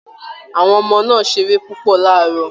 Àwọn ọmọ náà ṣeré púpọ̀ láàárọ̀